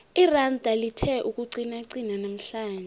iranda lithe ukuqinaqina namhlanje